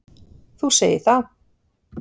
Þú segir það.